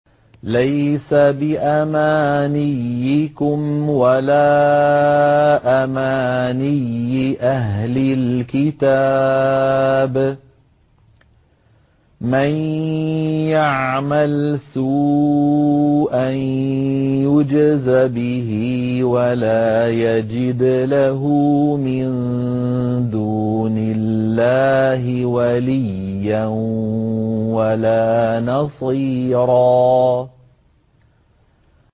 لَّيْسَ بِأَمَانِيِّكُمْ وَلَا أَمَانِيِّ أَهْلِ الْكِتَابِ ۗ مَن يَعْمَلْ سُوءًا يُجْزَ بِهِ وَلَا يَجِدْ لَهُ مِن دُونِ اللَّهِ وَلِيًّا وَلَا نَصِيرًا